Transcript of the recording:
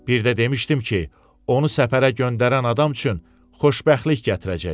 Bir də demişdim ki, onu səfərə göndərən adam üçün xoşbəxtlik gətirəcək.